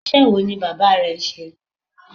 Iṣẹ́ wo ni bàbá rẹ ń ṣe?